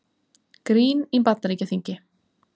Grín í Bandaríkjaþingi